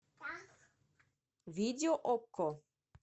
видео окко